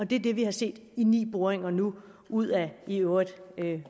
det er det vi har set i ni boringer nu ud af i øvrigt